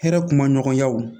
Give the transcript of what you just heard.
Hɛrɛ kuma ɲɔgɔnyaw